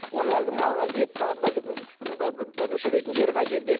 оны әлгі мал әлгі етті мүшелейтін жері қай жерде